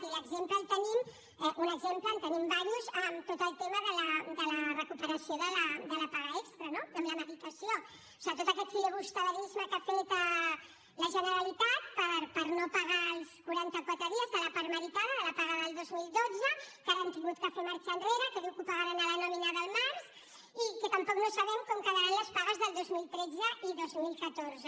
i l’exemple el tenim un exemple en tenim diversos en tot el tema de la recuperació de la paga extra no amb la meritació o sigui tot aquest filibusterisme que ha fet la generalitat per no pagar els quaranta quatre dies de la part meritada de la paga del dos mil dotze que ara han hagut de fer marxa enrere que diu que ho pagaran a la nòmina del març i que tampoc no sabem com quedaran les pagues del dos mil tretze i dos mil catorze